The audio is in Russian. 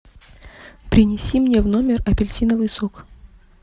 принеси мне в номер апельсиновый сок